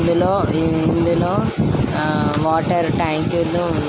ఇందులో ఇందులో వాటర్ ట్యాంకులు ఉన్నాయ్ --